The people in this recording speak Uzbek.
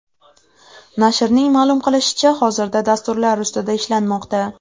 Nashrning ma’lum qilishicha, hozirda dasturlar ustida ishlanmoqda.